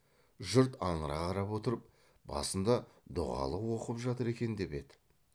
жұрт аңыра қарап отырып басында дұғалық оқып жатыр екен деп еді